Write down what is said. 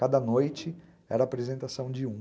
Cada noite era apresentação de um.